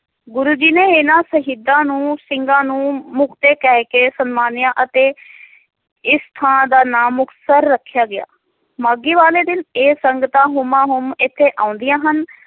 ਗੁਰੂ ਜੀ ਨੇ ਇਨ੍ਹਾਂ ਸ਼ਹੀਦਾਂ ਨੂੰ ਸਿੰਘਾਂ ਨੂੰ ਮੁਖਤੇ ਕਹਿ ਕੇ ਸਨਮਾਨਿਆ ਅਤੇ ਇਸ ਥਾਂ ਦਾ ਨਾਂ ਮੁਕਤਸਰ ਰੱਖਿਆ ਗਿਆ ਮਾਘੀ ਵਾਲੇ ਦਿਨ ਇਹ ਸੰਗਤਾਂ ਹੁਮਾਂ ਹੁਮ ਇਥੇ ਆਉਂਦੀਆਂ ਹਨ